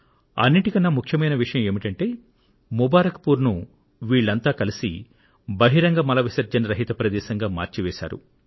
అన్నింటికన్నా ముఖ్యమైన విషయం ఏమిటంటే ముబారక్ పూర్ ను వీళ్లంతా కలిసి బహిరంగ మల విసర్జన రహిత ప్రదేశంగా మార్చి వేశారు